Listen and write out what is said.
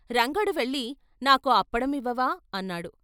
రంగడు వెళ్ళి నాకో అప్పడం ఇవ్వవా అన్నాడు?